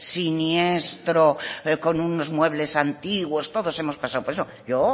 siniestro con unos muebles antiguos todos hemos pasado por eso yo